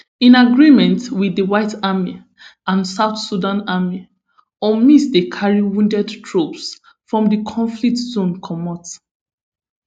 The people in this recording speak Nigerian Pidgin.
in agreement wit di white army and south sudan army unmiss dey carry wounded troops from di conflict zone comot